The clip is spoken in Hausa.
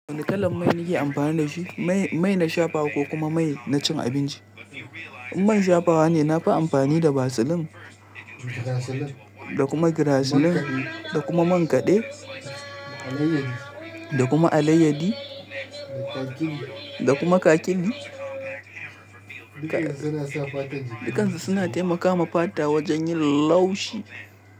Wane kalan mai nake amfani da shi? Mai na shafawa ko kuma mai na cin abinci? In mai shafawa ne, na fi amfani da vaseline da kuma graziline da kuma man kaɗe da kuma alayyadi da kuma kakiɗi. Dukansu suna taimakawa fata wajen yin laushi.